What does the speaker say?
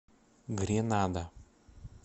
гренада